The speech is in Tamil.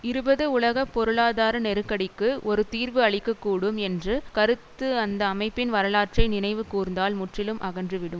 இருபது உலக பொருளாதார நெருக்கடிக்கு ஒரு தீர்வு அளிக்க கூடும் என்று கருத்து அந்த அமைப்பின் வரலாற்றை நினைவு கூர்ந்தால் முற்றிலும் அகன்றுவிடும்